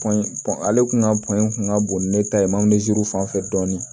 ale tun ka kun ka bon ni ne ta ye fanfɛ dɔɔnin